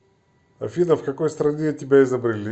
афина в какой стране тебя изобрели